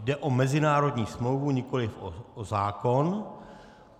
Jde o mezinárodní smlouvu, nikoliv o zákon.